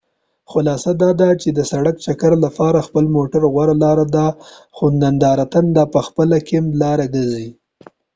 خلاصه دا چې د سړک چکر لپاره خپل موټر غوره لار ده خو ندرتاً دا پخپله د کیمپ لاره ګرځي